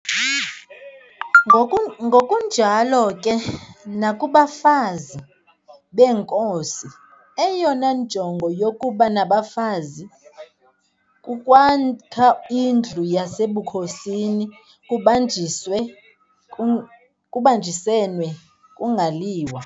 Ngokunjalo ke nakubafazi beenkosi, eyona njongo yokuba nabafazi kukwakha indlu yasebukhosini kubanjiswene, kungaliwa.